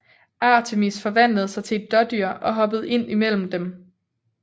Artemis forvandlede sig til et dådyr og hoppede ind imellem dem